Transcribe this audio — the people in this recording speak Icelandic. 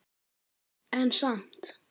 En samt.